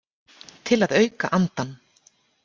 Til að auka andann.